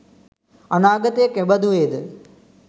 අනාගතය කෙබඳු වේ ද?